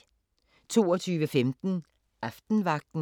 22:15: Aftenvagten